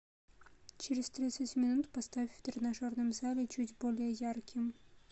через тридцать минут поставь в тренажерном зале чуть более ярким